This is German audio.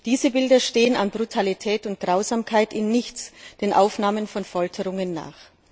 Diese Bilder stehen an Brutalität und Grausamkeit in nichts den Aufnahmen von Folterungen nach.